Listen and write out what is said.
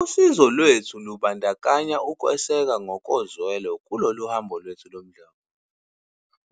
"Usizo lwethu lubandakanya ukweseka ngokozwelo kulolu hambo lomdlavuza,